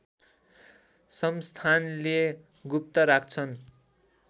संस्थानले गुप्त राख्छन्